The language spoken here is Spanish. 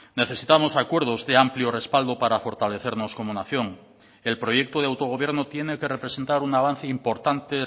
necesitamos acuerdos de amplio respaldo para fortalecernos como nación el proyecto de autogobierno tiene que representar un avance importante